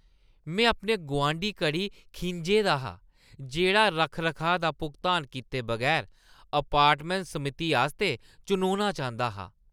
मैं अपने गुआंढी करी खिंझे दा हा, जेह्ड़ा रक्ख-रखाऽ दा भुगतान कीते बगैर अपार्टमैंट समिति आस्तै चुनोना चांह्‌दा हा।